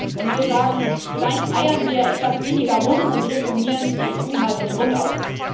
Und wir sagen Vielleicht eiern wir etwas weniger rum und reformieren die EU mal von Grund auf.